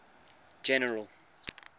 general